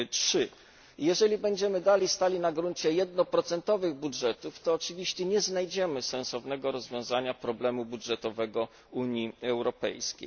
3. Jeżeli będziemy dalej stali na gruncie 1 budżetów, to oczywiście nie znajdziemy sensownego rozwiązania problemu budżetowego Unii Europejskiej.